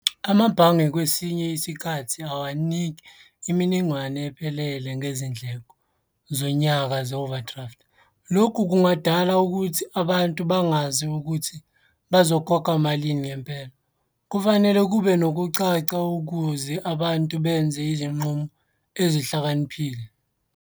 Amabhange kwesinye isikhathi awaniki iminingwane ephelele ngezindleko zonyaka ze-overdraft. Lokhu kungadala ukuthi abantu bangazi ukuthi bazokhokha malini ngempela. Kufanele kube nokucaca ukuze abantu benze izinqumo ezihlakaniphile.